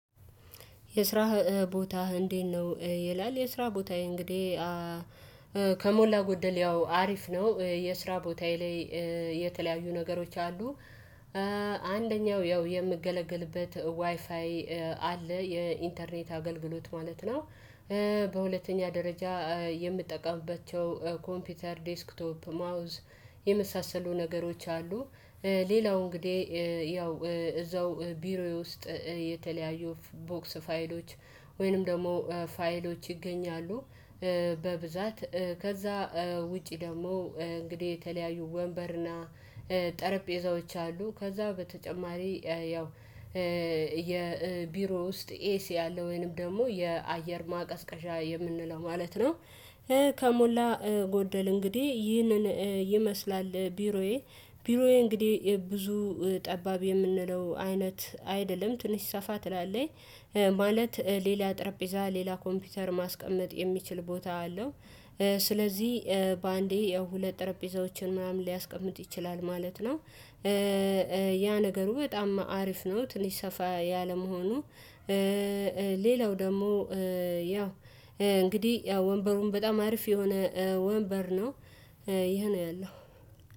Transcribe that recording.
የስራህ ቦታህ እንዴት ነው? ይላል የስራ ቦታዬ እንግዲህ ከሞላ ጎደል ያው አሪፍ ነው። የስራ ቦታዬ ላይ የተለያዩ ነገሮች አሉ። አንደኛው ያው የምገለግልበት ዋይፋይ አለ የኢንተርኔት አገልግሎት ማለት ነው። በሁለተኛ ደረጃ የምጠቀምበት ኮምፒውተር ዴስክቶፕ ማውዝ የመሳሰሉ ነገሮች አሉ። ሌላው እንግዲህ ያው እዛው ቢሮዬ ውስጥ የተለያዩ ቦክስ ፋይሎች ወይንም ደግሞ ፋይሎች ይገኛሉ። በብዛት ከዛ ውጪ ደግሞ እንግዲህ የተለያዩ ወንበርና ጠረጴዛዎች አሉ። ከዛ በተጨማሪ ያው የቢሮ ውስጥ ኤሲ አለ ወይንም ደግሞ የአየር ማቀዝቀዟ የምንለው ማለት ነው። ከሞላ ጎደል እንግዲህ ይህንን ይመስላል። ቢሮዬ ቢሮዬ እንግዲህ ብዙ ጠባብ የምንለው አይነት አይደለም ትንሽ ሰፋ ትላለኝ። ማለት ሌላ ጠረጴዛ ሌላ ኮምፒውተር ማስቀመጥ የሚችል ቦታ አለው። ስለዚህ በአንዴ የሁለት ጠረጴዛዎችን ምናምን ሊያስቀምጥ ይችላል ማለት ነው። ያ ነገሩ በጣም አሪፍ ነው። ትንሽ ሰፋ ያለመሆኑ ሌላው ደግሞ ያው እንግዲህ ያው ወንበሩን በጣም አሪፍ የሆነ ወንበር ነው። ይሄ ነው ያለው